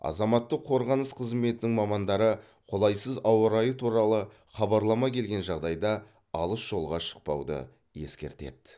азаматтық қорғаныс қызметінің мамандары қолайсыз ауа райы туралы хабарлама келген жағдайда алыс жолға шықпауды ескертеді